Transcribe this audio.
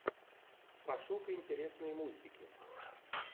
пошукай интересные мультики